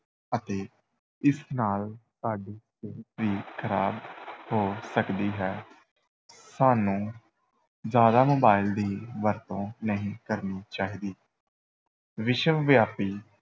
ਅਤੇ ਇਸ ਨਾਲ ਸਾਡੀ ਸਿਹਤ ਵੀ ਖ਼ਰਾਬ ਹੋ ਸਕਦੀ ਹੈ ਸਾਨੂੰ ਜ਼ਿਆਦਾ mobile ਦੀ ਵਰਤੋਂ ਨਹੀਂ ਕਰਨੀ ਚਾਹੀਦੀ ਵਿਸ਼ਵਵਿਆਪੀ